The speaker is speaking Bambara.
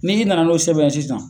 N'i nana n'o sɛbɛn ye sisan.